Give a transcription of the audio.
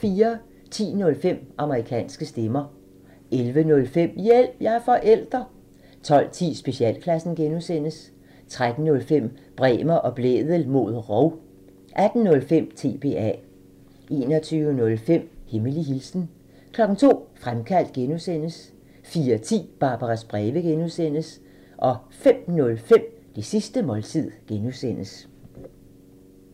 10:05: Amerikanske stemmer 11:05: Hjælp – jeg er forælder! 12:10: Specialklassen (G) 13:05: Bremer og Blædel mod rov 18:05: TBA 21:05: Hemmelig hilsen 02:00: Fremkaldt (G) 04:10: Barbaras breve (G) 05:05: Det sidste måltid (G)